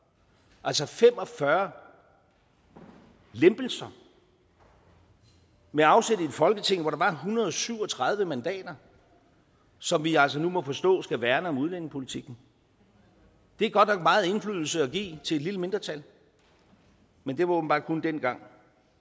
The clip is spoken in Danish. altså fem og fyrre lempelser med afsæt i et folketing hvor der var en hundrede og syv og tredive mandater som vi altså nu må forstå skal værne om udlændingepolitikken det er godt nok meget indflydelse at give til et lille mindretal men det var åbenbart kun dengang